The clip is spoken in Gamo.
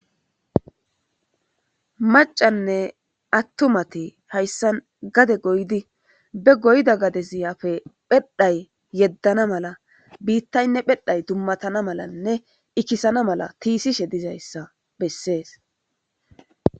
macanne attumati hayssan gade goydi be goyda gade siyafe phedhay yeddana mala biittaynne phedhay dummatana malanne ikkisana mala tiisishe dizayssa bessees